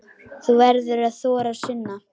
Þú verður að þora, Sunna.